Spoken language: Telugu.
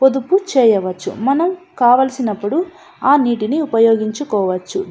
పొదుపు చెయ్యవచ్చు మనం కావలిసినప్పుడు ఆ నీటి ని ఉపయోగించుకోవచ్చు.